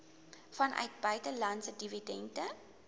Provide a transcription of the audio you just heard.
vanuit buitelandse dividende